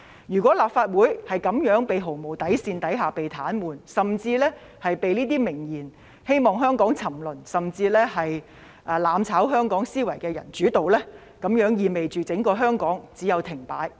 如果立法會在這樣毫無底線的情況下被癱瘓，甚至被這些明言希望香港沉淪、"攬炒"香港的人主導，那麼整個香港只有停擺。